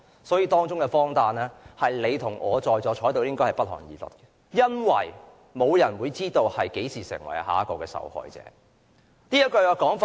所以，當中的荒誕是你與我在座的人也會感到不寒而慄的，因為沒有人會知道何時成為下一個受害者。